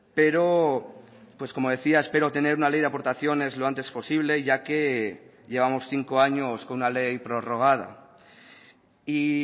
pero pues como decía espero tener una ley de aportaciones lo antes posible ya que llevamos cinco años con una ley prorrogada y